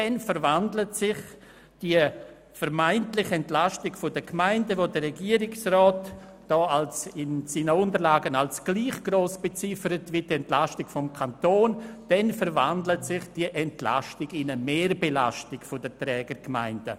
Die vermeintliche Entlastung der Gemeinden, die vom Regierungsrat in seinen Unterlagen als gleich gross beziffert wird wie die Entlastung des Kantons, verwandelt sich dann in eine Mehrbelastung der Trägergemeinden.